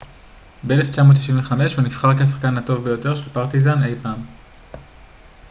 ב-1995 הוא נבחר כשחקן הטוב ביותר של פרטיזן אי פעם